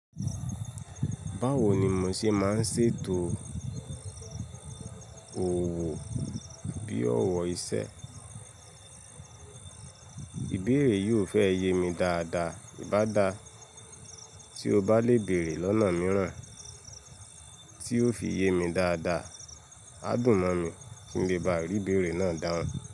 Báwo ni mò ṣe máa ń ṣètò òwò bí ọ̀wọ́ iṣẹ́? Ìbéèrè yìí ò fẹ́ yé mi dáadáa. Ìbá dá, tí o bá le bèèrè lọ́nà mìíràn tí yóò fi yé mi dáadáa, á dùn mí kí n lè bá ìbéèrè náà dáhùn.